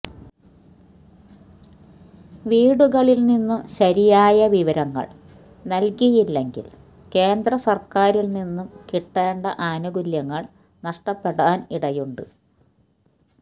വീടുകളില് നിന്നും ശരിയായ വിവരങ്ങള് നല്കിയില്ലെങ്കില് കേന്ദ്രസര്ക്കാരില് നിന്നും കിട്ടേണ്ട ആനുകൂല്യങ്ങള് നഷ്ടപ്പെടാന് ഇടയുണ്ട്